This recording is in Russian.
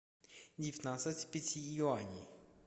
девятнадцать пяти юаней